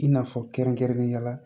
I n'a fɔ kɛrɛnkɛrɛnnenya la